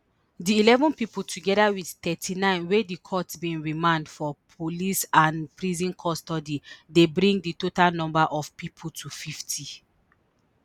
di eleven pipo togeda wit thirty-nine wey di court bin remand for police and prison custody dey bring di total number of pipo to fifty